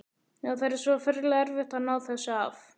Já, það er svo ferlega erfitt að ná þessu af.